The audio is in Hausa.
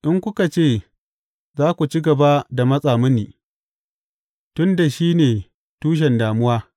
In kuka ce, Za ku ci gaba da matsa mini, tun da shi ne tushen damuwa,’